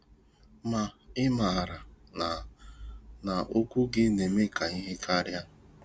Ma ị maara na na okwu gị na-eme ihe karịa?